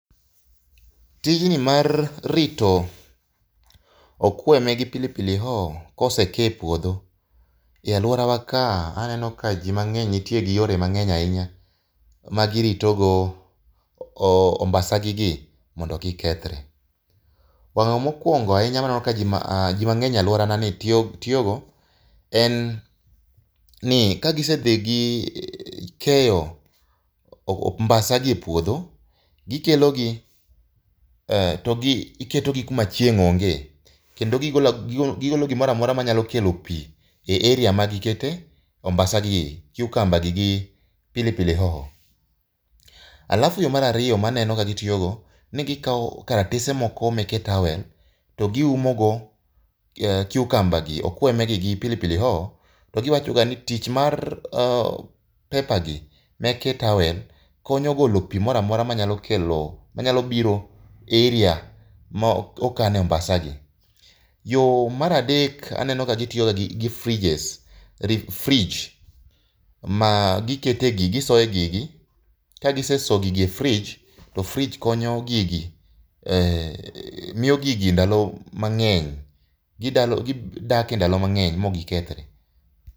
Tijni mar rito okweme gi pili pili hoho kosekee e puodho e alworawa ka, aneno ka ji mang'eny nitie gi yore mang'eny ahinya ma giritogo ombasagigi mondo kik kethre. Mokwongo ahinya maneno ka ji mang'eny e alworanani tiyogo en ni ,kagisedhi gikeyo ombasagi e puodho, gikelogi to giketogi kuma chieng' onge. Kendo gigolo gimora mora manyalo kelo pi e area magiketee ombasagi, cucumber gi pilipili hoho. Alafu mar ariyo maneno ka gitiyogo, ni gikawo karatese moko meke towel to giumogo cucumber gi, okweme gi gi pili pili hoho to giwachoga ni tich mar pepper gi meke towel konyo golo pi moramora manyalo biro e area mokane ombasagi. Yo mar adek, aneno ka gitiyo ga gi fridges, fridge magisoe gigi. Ka gisesoyo gigi e fridge, to fridge konyo gigi e . Miyo gigi ndalo mang'eny. Gidak e ndalo mang'eny mok gikethore.